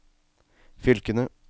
fylkene